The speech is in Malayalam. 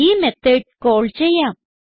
ഈ മെത്തോട് കാൾ ചെയ്യാം